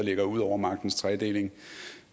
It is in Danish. ligger ud over magtens tredeling